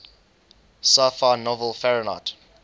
sci fi novel fahrenheit